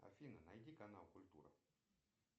афина найди канал культура